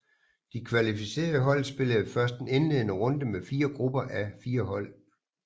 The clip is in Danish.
De kvalificerede hold spillede først en indledende runde med 4 grupper á 4 hold